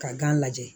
Ka gan lajɛ